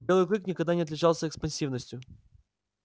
белый клык никогда не отличался экспансивностью